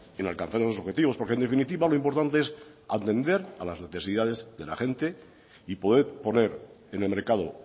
en alcanzar esos objetivos porque en definitiva lo importante es atender a las necesidades de la gente y poder poner en el mercado